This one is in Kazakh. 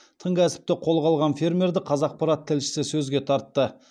тың кәсіпті қолға алған фермерді қазақпарат тілшісі сөзге тартты